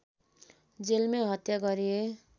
जेलमै हत्या गरिए